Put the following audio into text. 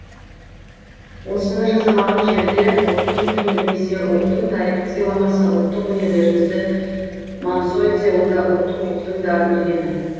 осыны жасамаған жерде ұлттың тілін білмесе ұлттың тарихын сыйламаса ұлттық өнерлерімізді мансұқ етсе онда ұлттық рухтың да өлгені